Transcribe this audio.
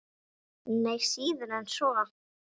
Nei, síður en svo.